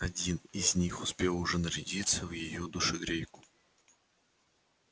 один из них успел уже нарядиться в её душегрейку